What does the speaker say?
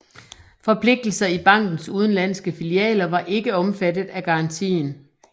Forpligtelser i bankenes udenlandske filialer var ikke omfattet af garantien